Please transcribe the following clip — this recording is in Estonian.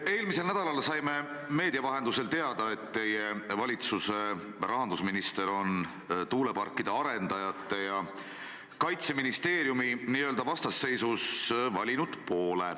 Eelmisel nädalal saime meedia vahendusel teada, et teie valitsuse rahandusminister on tuuleparkide arendajate ja Kaitseministeeriumi vastasseisus poole valinud.